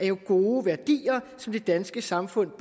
jo gode værdier som det danske samfund